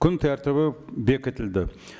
күн тәртібі бекітілді